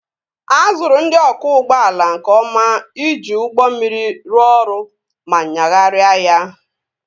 A zụrụ ndị ọkwọ ụgbọala nke ọma iji ụgbọ mmiri rụọ ọrụ ma nyagharịa ya